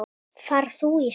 Far þú í sátt.